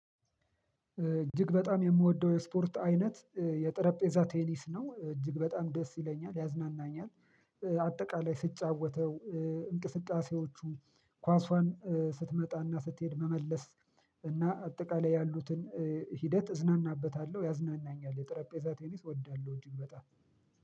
እጅግ በጣም የምወደው የስፖርት አይነት የጠረጴዛ ቴኒስ ነው እጅግ በጣም ደስ ይለኛል ያዝናናኛል። አጠቃላይ ስጫወተው፣ እንቅስቃሴዎቹ፣ ኳሷን ስትመጣና ስትሄድ መመለስ እና አጠቃላይ ያሉትን ሂደት እዝናናበታለሁ ያዝናናኛል ጠረጴዛ ቴኒስ እወዳለሁ። እጅግ በጣም